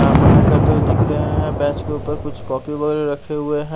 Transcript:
यहाँ पढ़ाई करते हुए दिख रहे है बेंच के ऊपर कुछ कॉपी वगैरे रखे हुए है।